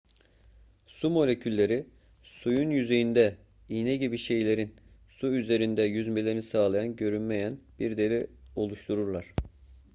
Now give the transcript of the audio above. su molekülleri suyun yüzeyinde iğne gibi şeylerin su üzerinde yüzmelerini sağlayan görünmeyen bir deri oluştururlar